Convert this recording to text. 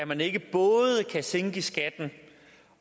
man ikke både kan sænke skatten